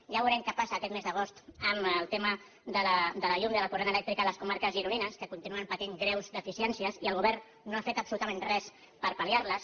ja veurem què passa aquest mes d’agost amb el tema de la llum i del corrent elèctric a les comarques gironines que continuen patint greus deficiències i el govern no ha fet absolutament res per pal·liar les